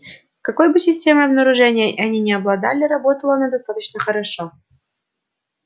какой бы системой обнаружения они ни обладали работала она достаточно хорошо